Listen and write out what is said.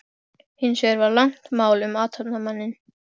Hins vegar var langt mál um athafnamanninn